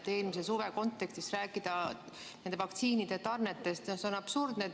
Eelmise suve kontekstis rääkida vaktsiinitarnetest on absurdne.